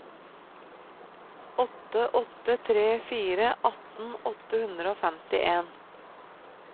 åtte åtte tre fire atten åtte hundre og femtien